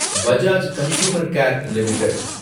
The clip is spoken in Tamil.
Bajaj consumer care limited